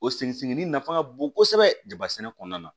O seginni nafa ka bon kosɛbɛ dabasɛnɛ kɔnɔna na